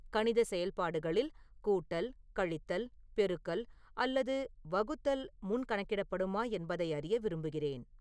கணித செயல்பாடுகளில் கூட்டல் கழித்தல் பெருக்கல் அல்லது வகுத்தல் முன் கணக்கிடப்படுமா என்பதை அறிய விரும்புகிறேன்